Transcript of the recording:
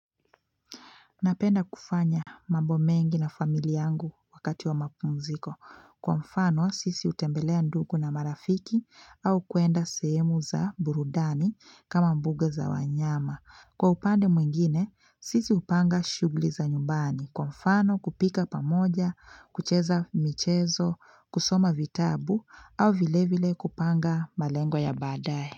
Napenda kufanya mambo mengi na familia yangu wakati wa mapunziko. Kwa mfano, sisi hutembelea ndugu na marafiki au kuenda sehemu za burudani kama mbuga za wanyama. Kwa upande mwingine, sisi hupanga shughuli za nyumbani. Kwa mfano, kupika pamoja, kucheza michezo, kusoma vitabu au vile vile kupanga malengo ya baadae.